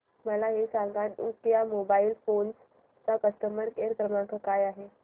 मला हे सांग नोकिया मोबाईल फोन्स चा कस्टमर केअर क्रमांक काय आहे